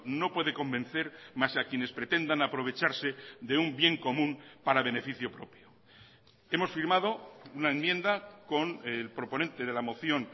no puede convencer más a quienes pretendan aprovecharse de un bien común para beneficio propio hemos firmado una enmienda con el proponente de la moción